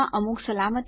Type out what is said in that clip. જોડાવા બદ્દલ આભાર